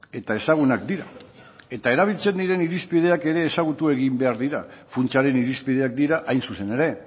eta ezagunak dira eta erabiltzen den irizpideak ere ezagutu egin behar dira funtsaren irizpideak dira hain zuzen ere